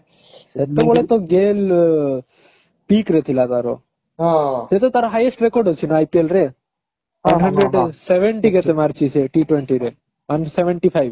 ସେତେବେଳେ ତ Gayle pick ରେ ଥିଲା ତାର ସେ ତ ତାର highest record ଅଛି ନ IPL ରେ seventy କେତେ ମାରିଛି ସେ T twenty ରେ ମାନେ seventy five